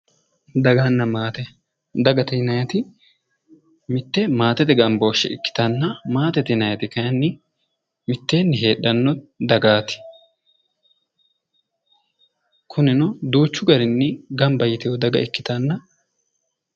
Daganna maate, dagate yinaayiiti mitte maatete gambooshshe ikkitanna matete yinayiiti kayiinni miteenni heedhanno dagati. kunino duuchu garinni gamba yiteewoota ikitanna.